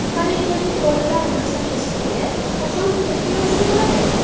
Malakali bolalar massajistiga qachon ehtiyoj tug‘iladi?